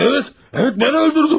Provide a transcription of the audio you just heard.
Evet, evet, mən öldürdüm.